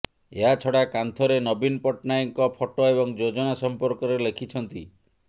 ଏହାଛଡ଼ା କାନ୍ଥରେ ନବୀନ ପଟ୍ଟନାୟକଙ୍କ ଫଟୋ ଏବଂ ଯୋଜନା ସମ୍ପର୍କରେ ଲେଖିଛନ୍ତି